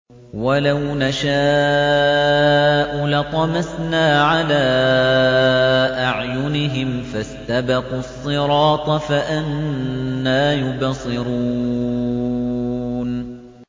وَلَوْ نَشَاءُ لَطَمَسْنَا عَلَىٰ أَعْيُنِهِمْ فَاسْتَبَقُوا الصِّرَاطَ فَأَنَّىٰ يُبْصِرُونَ